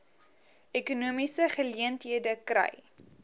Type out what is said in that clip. ekonomiese geleenthede kry